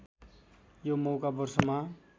यो मौका वर्षमा